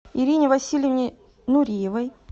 ирине васильевне нуриевой